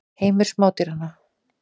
Heimur smádýranna.